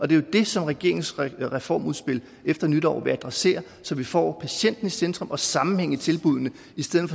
det er jo det som regeringens reformudspil efter nytår vil adressere så vi får patienten i centrum og sammenhæng i tilbuddene i stedet